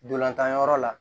Dolantan yɔrɔ la